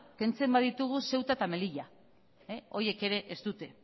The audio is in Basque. kentzen baditugu ceuta eta melilla horiek ere ez dute